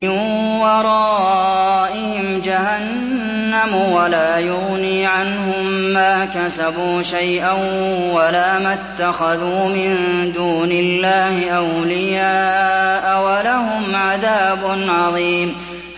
مِّن وَرَائِهِمْ جَهَنَّمُ ۖ وَلَا يُغْنِي عَنْهُم مَّا كَسَبُوا شَيْئًا وَلَا مَا اتَّخَذُوا مِن دُونِ اللَّهِ أَوْلِيَاءَ ۖ وَلَهُمْ عَذَابٌ عَظِيمٌ